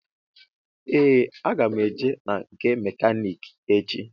Ee aga m eje na nke mekaniki echi.